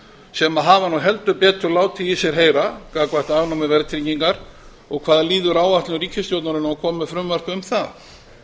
sem hafa nú heldur betur látið í sér heyra gagnvart afnámi verðtryggingar og hvað líður áætlun ríkisstjórnarinnar um að koma með frumvarp um það